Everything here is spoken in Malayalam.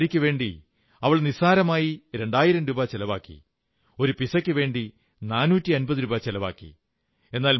ഒരു സാരിക്കുവേണ്ടി അവൾ നിസ്സാരമായി രണ്ടായിരം രൂപ ചെലവാക്കി ഒരു പിസയ്ക്കുവേണ്ടി 450 രൂപ ചെലവാക്കി